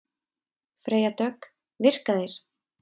Freyja Dögg: Virka þeir?